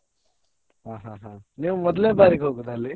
ಹಾ ಹಾ ಹಾ ನೀವ್ ಮೊದಲ್ನೇ ಬಾರಿಗೆ ಹೋಗುದಾ ಅಲ್ಲಿ?